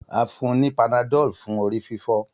A fun u panadol fun orififo.